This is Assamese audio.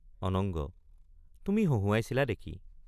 অনঙ্গ—তুমি হঁহুৱাইছিলা দেখি।